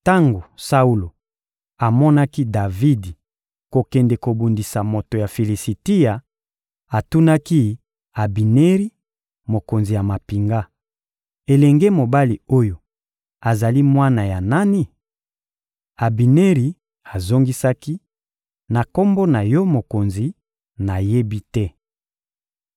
Tango Saulo amonaki Davidi kokende kobundisa moto ya Filisitia, atunaki Abineri, mokonzi ya mampinga: — Elenge mobali oyo azali mwana ya nani? Abineri azongisaki: — Na kombo na yo mokonzi, nayebi te.